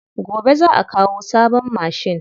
Gobe za'a kawo sabon mashin.